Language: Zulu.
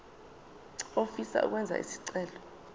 ofisa ukwenza isicelo